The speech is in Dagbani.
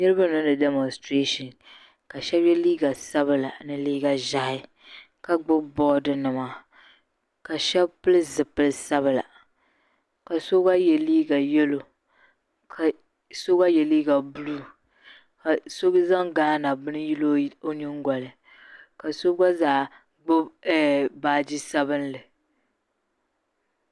niriba n niŋdi damostɛɛshin ka shaba yɛ liiga sabla ni liiga ʒahi ka gbibi boodi bima ka sbab pili zupili sabila ka so gba yɛ liiga yalo ka so gba yɛ liiga buluu ka so zaŋ gaana bili yili o nyingoli ni ka so gba zaa gbibi ɛɛɛ baaji sabinli